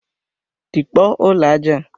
Tikpọọ ụlọ aja a!